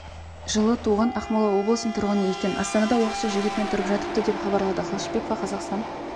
жылы туған ақмола облысының тұрғыны екен астанада уақытша жігітімен тұрып жатыпты деп хабарлады қылышбекова қазақстан